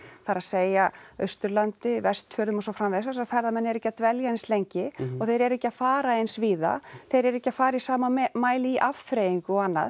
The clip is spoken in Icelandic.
það er að segja Austurlandi Vestfjörðum og svo framvegis þar sem ferðamenn eru ekki að dvelja eins lengi og þeir eru ekki að fara eins víða þeir eru ekki að fara í sama mæli í afþreyingu og annað